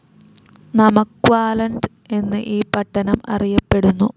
Namaqualand എന്നും ഈ പട്ടണം അറിയപ്പെടുന്നു.